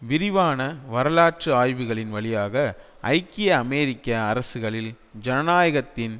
விரிவான வரலாற்று ஆய்வுகளின் வழியாக ஐக்கிய அமெரிக்க அரசுகளில் ஜனநாயகத்தின்